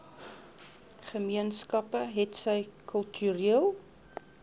gemeenskappe hetsy kultureel